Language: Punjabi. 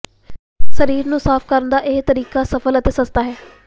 ਸਰੀਰ ਨੂੰ ਸਾਫ਼ ਕਰਨ ਦਾ ਇਹ ਤਰੀਕਾ ਸਰਲ ਅਤੇ ਸਸਤਾ ਹੈ